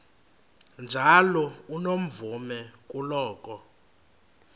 njalo unomvume kuloko